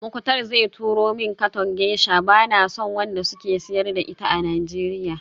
Muktar zai turo min katon geisha, bana son wanda suke siyar da ita a Nigeria